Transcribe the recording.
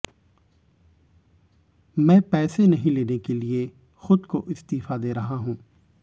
मैं पैसे नहीं लेने के लिए खुद को इस्तीफा दे रहा हूं